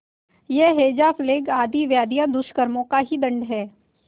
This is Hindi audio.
यह हैजाप्लेग आदि व्याधियाँ दुष्कर्मों के ही दंड हैं